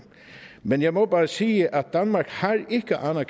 men jeg må bare sige at danmark ikke har